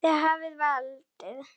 Þið hafið valdið.